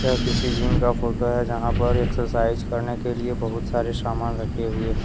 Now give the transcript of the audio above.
यह किसी जिम का फोटो है जहां पर एक्सरसाइज करने के लिए बहुत सारे सामान रखे हुए हैं।